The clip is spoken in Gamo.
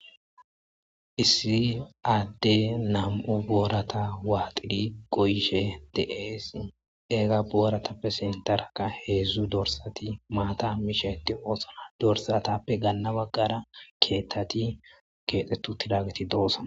issi adde nam7u boorata waaxiri goyishe deeesi eega booratappe sintarka heedzdzu dorsati maata misheti oosora dorsatappe ganna baggara keettati keexetu tilageti doosa